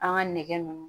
An ka nɛgɛ nunnu